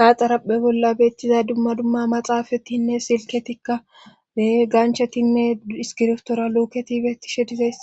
ha xaraphe bolla beettiza dumma dumma maxaafatinne silketikka be ganchatinne iskirftora luketi beettishe dizes